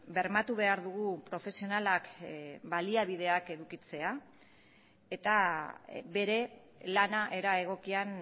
bermatu behar dugu profesionalak baliabideak edukitzea eta bere lana era egokian